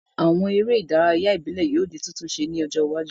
Àwon eré ìdárayá ìbílẹ́ yio di titunse ní ọjọ́ iwájú